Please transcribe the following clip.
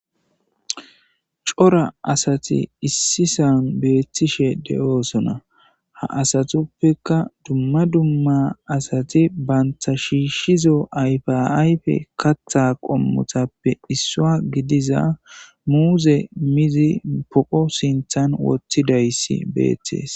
cora asati issisan beettishe de7oosona ha asatuppeka dumma dumma asati banta shiishshizo ayfiayfe katha qommotappe issua gidiza muuze mizi poqo sinthan wotthidayssi beettees